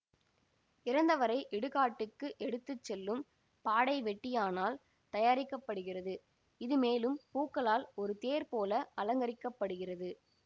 இறந்தவரை இடுகாட்டுக்கு எடுத்து செல்லும் பாடை வெட்டியானால் தயாரிக்க படுகிறது இது மேலும் பூக்களால் ஒரு தேர் போல அலங்கரிக்கப்படுகிறது